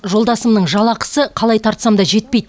жолдасымның жалақысы қалай тартсаң да жетпейді